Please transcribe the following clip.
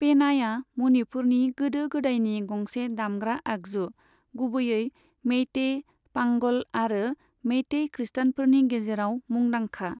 पेनाया मनिपुरनि गोदो गोदायनि गंसे दामग्रा आगजु, गुबैयै मेइतेइ, पांगल आरो मेइतेइ खृष्टानफोरनि गेजेराव मुंदांखा।